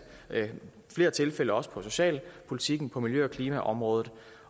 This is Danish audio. i flere tilfælde også på socialpolitikken på miljø og klimaområdet